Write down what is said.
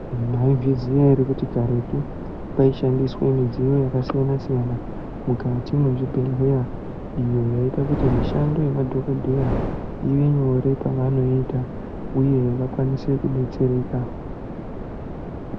Imwi mwaizviziya ere kuti karetu kwaishandiswe midziyo yakasiyanasiyana mukati mwezvibhehleya iyo yaiite kuti mishando yemadhokodheya ivenyore pavanoita uye vakwanise kudetsereka.